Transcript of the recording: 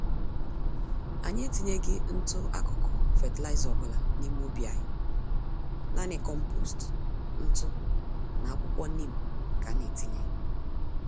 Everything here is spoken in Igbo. Anyị etinyeghi ntụ-akụkụ fertilizer ọbula n'ime ubi anyị, nanị kompost, ntụ na akwuwko neem ka ana-etinye.